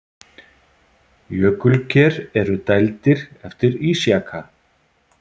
Jökulker eru dældir eftir ísjaka.